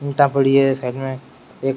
ईंट पड़ी है साइड मे एक --